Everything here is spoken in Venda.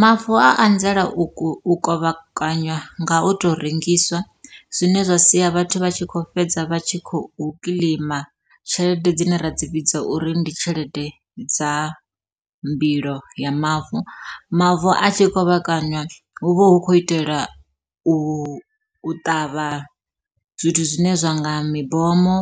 Mavu a anzela u kovhekanywa nga u to rengiswa, zwine zwa sia vhathu vha tshi kho fhedza vha tshi khou kiḽeima tshelede dzine ra dzi vhidza uri ndi tshelede dza mbilo ya mavu. Mavu a tshi kovhekanywa hu vha hu khou itela u ṱavha zwithu zwine zwa nga mibomo,